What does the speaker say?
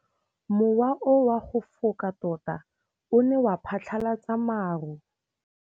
Mowa o wa go foka tota o ne wa phatlalatsa maru.